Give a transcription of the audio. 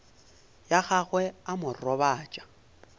ya gagwe a mo robatša